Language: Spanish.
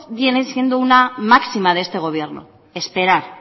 viene siendo una máxima de este gobierno esperar